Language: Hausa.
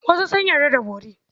Wasu sun yarda da bori.